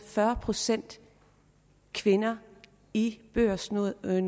fyrre procent kvinder i børsnoterede